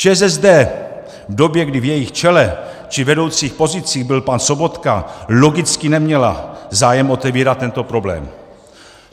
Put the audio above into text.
ČSSD v době, kdy v jejím čele či vedoucích pozicích byl pan Sobotka, logicky neměla zájem otevírat tento problém.